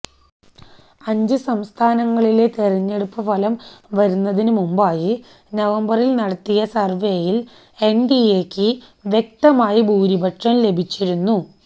അഞ്ച് സംസ്ഥാനങ്ങളിലെ തെരഞ്ഞെടുപ്പ് ഫലം വരുന്നതിനുമുന്പായി നവംബറില് നടത്തിയ സര്വേയില് എന്എഡിഎയ്ക്ക് വ്യക്തമായ ഭൂരിപക്ഷം ലഭിച്ചിരുന്നു